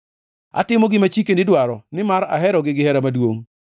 Atimo gima chikeni dwaro, nimar aherogi gihera maduongʼ.